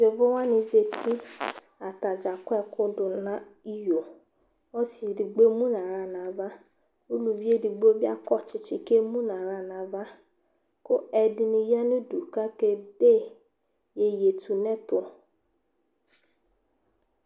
Yovo wanɩ zati Ata dza akɔ ɛkʋ dʋ nʋ iyo Ɔsɩ edigbo emu nʋ aɣla nʋ ava Uluvi edigbo bɩ akɔ tsɩtsɩ kʋ emu nʋ aɣla nʋ ava kʋ ɛdɩnɩ ya nʋ udu kʋ akede iyeyetunʋɛtʋ